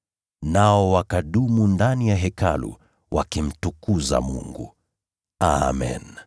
Nao wakadumu ndani ya Hekalu wakimtukuza Mungu. Amen.